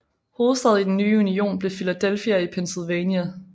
Hovedstad i den nye union blev Philadelphia i Pennsylvania